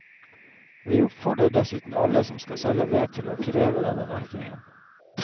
Vi oppfordrer dessuten alle som skal selge ved, til å kreve denne merkingen.